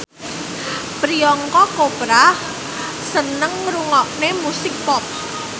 Priyanka Chopra seneng ngrungokne musik pop